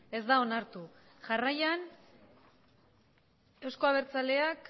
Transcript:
ez da onartu jarraian eusko abertzaleak